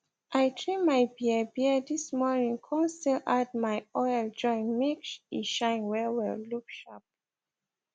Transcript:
i trim my biabia this morning kon still add my oil join make e shine wellwell look sharp